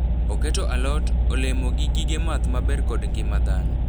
Oketo alot, olemo gi gige math ma ber kod ngima dhano.